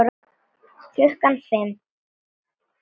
Klukkan fimm.